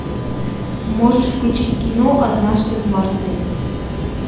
можешь включить кино однажды в марселе